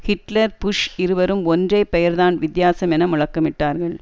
Hitler Bush இருவரும் ஒன்றே பெயர்தான் வித்தியாசம் என முழுக்கமிட்டார்கள்